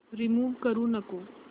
remove करू नको